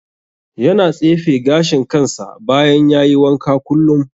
Yana tsefe gashin kansa bayan ya yi wanka kullum.